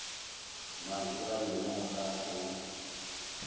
mantšu a lena ga o